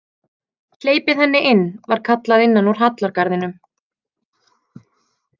Hleypið henni inn, var kallað innan úr hallargarðinum.